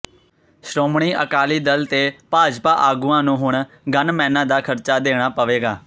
ਸ਼੍ਰੋਮਣੀ ਅਕਾਲੀ ਦਲ ਤੇ ਭਾਜਪਾ ਆਗੂਆਂ ਨੂੰ ਹੁਣ ਗੰਨਮੈਨਾਂ ਦਾ ਖਰਚਾ ਦੇਣਾ ਪਵੇਗਾ